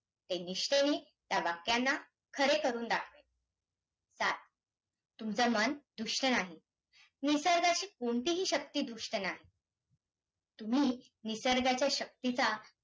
एकनिष्ठेने या वाक्यांना खरे करून दाखवेन सात तुमचं मन दुष्ट नाही. निसर्गाची कोणतीही शक्ती दुष्ट नाही. तुम्ही निसर्गाच्या शक्तीचा